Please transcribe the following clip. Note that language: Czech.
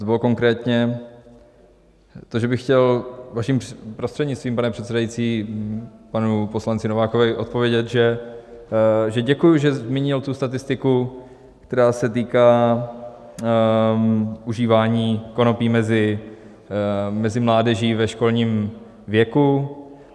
To bylo konkrétně to, že bych chtěl vaším prostřednictvím, pane předsedající, panu poslanci Novákovi odpovědět, že děkuji, že zmínil tu statistiku, která se týká užívání konopí mezi mládeží ve školním věku.